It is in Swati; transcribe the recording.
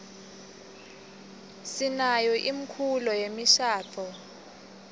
sinayo imkulo yemishaduo